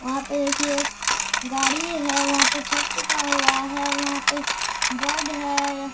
वहां पे देखिए गाड़ी है वहां पर छत पीटा हुआ है वहां पे बोर्ड है।